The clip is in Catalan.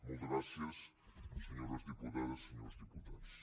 moltes gràcies senyores diputades i senyors diputats